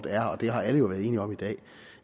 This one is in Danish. er og det har alle jo været enige om i dag